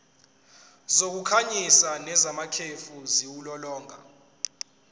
zokukhanyisa nezamakhefu ziwulolonga